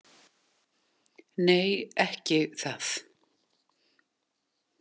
Nei, ekki það.